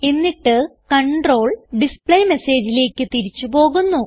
എന്നിട്ട് കണ്ട്രോൾ displayMessageലേക്ക് തിരിച്ച് പോകുന്നു